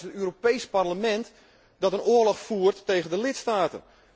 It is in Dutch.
Maar het is juist het Europees Parlement dat een oorlog voert tegen de lidstaten.